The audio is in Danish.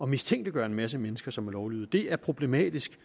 mistænkeliggør en masse mennesker som er lovlydige det er problematisk